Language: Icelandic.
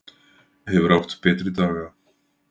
Hefur átt betri daga.